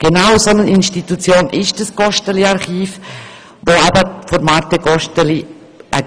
Genau eine solche Institution ist das Gosteli-Archiv, das von Marthe Gosteli gegründet wurde;